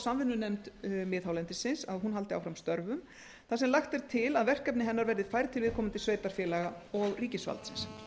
að samvinnunefnd miðhálendis haldi áfram störfum þar sem lagt er til að verkefni hennar verði færð til viðkomandi sveitarfélaga og ríkisvaldsins